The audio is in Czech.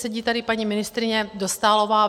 Sedí tady paní ministryně Dostálová.